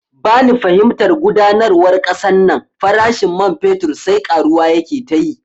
Bani fahimtar gudanarwar kasan nan, farashin man fetur sai karuwa yake tayi